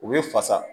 U bɛ fasa